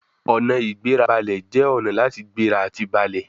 Ọ̀nà-ìgbérabalẹ̀ jẹ́ ọ̀nà láti gbéra àti balẹ̀